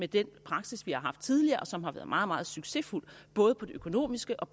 den praksis vi har haft tidligere og som har været meget meget succesfuld både på det økonomiske og